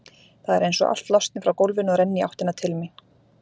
Það er einsog allt losni frá gólfinu og renni í áttina til mín.